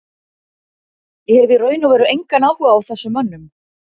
Ég hef í raun og veru engan áhuga á þessum mönnum.